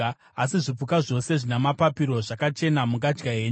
Asi zvipuka zvose zvina mapapiro zvakachena mungadya henyu.